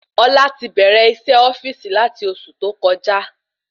Ọlá ti bẹrẹ isé ofíìsì lati oṣù tó kọjá